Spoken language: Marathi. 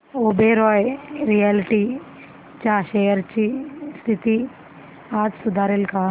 ओबेरॉय रियाल्टी च्या शेअर्स ची स्थिती आज सुधारेल का